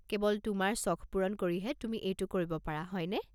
কেৱল তোমাৰ চখ পূৰণ কৰিহে তুমি এইটো কৰিব পাৰা, হয়নে?